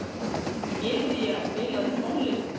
Gyðja, spilaðu tónlist.